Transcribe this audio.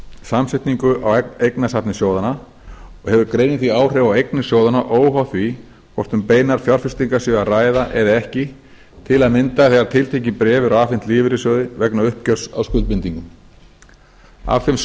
samsetningu á eignasafni sjóðanna og hefur greinin því áhrif á eignir sjóðanna óháð því hvort um beinar fjárfestingar sé að ræða eða ekki til að mynda þegar tiltekin bréf eru afhent lífeyrissjóði vegna uppgjörs á skuldbindingum af þeim